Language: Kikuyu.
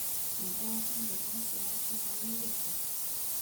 Namba ya thimũ ya mũciĩ wa Juma nĩ ĩrĩkũ?